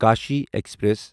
Kashi express